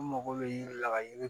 N mago bɛ yiri la ka yiri